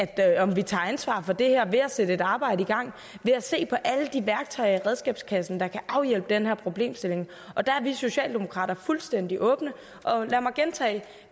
at vi tager ansvar for det her ved at sætte et arbejde i gang ved at se på alle de værktøjer i redskabskassen der kan afhjælpe den her problemstilling og der er vi socialdemokrater fuldstændig åbne og lad mig gentage